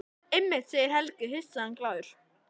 Einmitt, segir Helgi hissa en glaður.